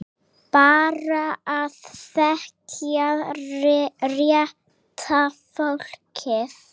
Bara að þekkja rétta fólkið.